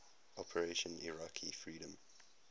operation iraqi freedom